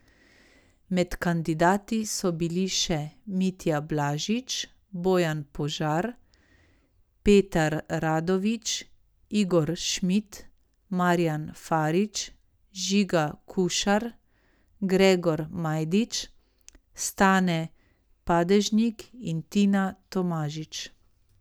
Med kandidati so bili še Mitja Blažič, Bojan Požar, Petar Radovič, Igor Šmid, Marjan Farič, Žiga Kušar, Gregor Majdič, Stane Padežnik in Tina Tomažič.